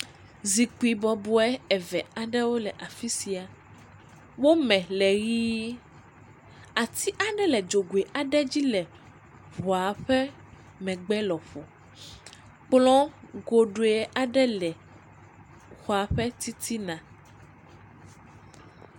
Zikpui bɔbɔe eve aɖewo le afi sia, wo me le ʋɛ̃, ati aɖe le dzogoe aɖe dzi le ŋɔa ƒe megbe lɔƒo, kplɔ goɖoe aɖe le xɔa ƒe titina.